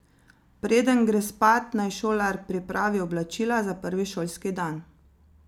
Preden gre spat, naj šolar pripravi oblačila za prvi šolski dan.